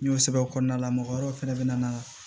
N y'o sɛbɛn o kɔnɔna la mɔgɔ wɛrɛw fɛnɛ be na